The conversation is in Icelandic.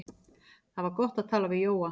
Það var gott að tala við Jóa.